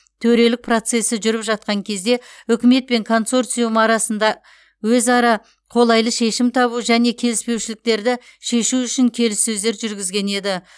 төрелік процесі жүріп жатқан кезде үкімет пен консорциум арасында өзара қолайлы шешім табу және келіспеушіліктерді шешу үшін келіссөздер жүргізген еді